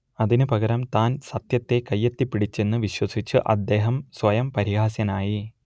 അതിന് പകരം താൻ സത്യത്തെ കയ്യെത്തിപ്പിടിച്ചെന്ന് വിശ്വസിച്ച് അദ്ദേഹം സ്വയം പരിഹാസ്യനായി